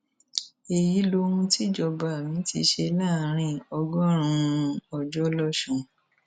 èyí lohun tíjọba mi ti ṣe láàrin ọgọrùnún ọjọ lọsùn